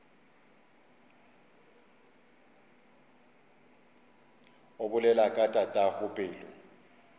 o bolela ka tatago pelo